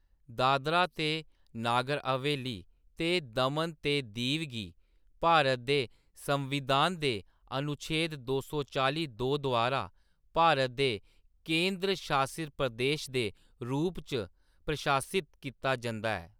दादरा ते नागर हवेली ते दमन ते दीव गी भारत दे संविधान दे अनुच्छेद दो सौ चालीं दो द्वारा भारत दे केंद्र शासित प्रदेश दे रूप च प्रशासित कीता जंदा ऐ।